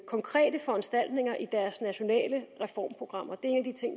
konkrete foranstaltninger i deres nationale reformprogrammer det